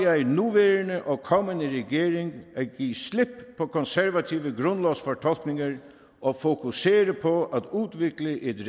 jeg den nuværende og kommende regeringer at give slip på konservative grundlovsfortolkninger og fokusere på udvikle et